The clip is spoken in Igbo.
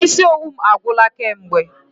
Isi owu m agwụla kamgbe.